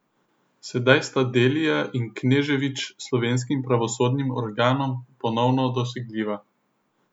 Sedaj sta Delija in Knežević slovenskim pravosodnim organom ponovno dosegljiva.